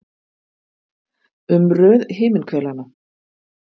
Um röð himinhvelanna.